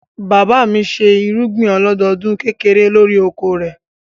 Bàbá mi ṣe irúgbìn ọlọ́dọdún kékeré lórí oko rẹ̀.